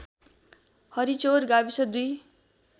हरिचौर गाविस २